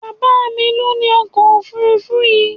Bàbá mí lo ní ọkọ òfurufú yìí